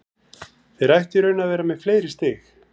Þeir ættu í raun að vera með fleiri stig.